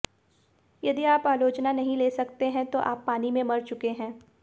यदि आप आलोचना नहीं ले सकते हैं तो आप पानी में मर चुके हैं